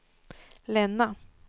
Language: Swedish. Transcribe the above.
Länna